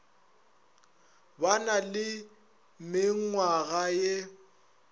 ba na le menngwaga ye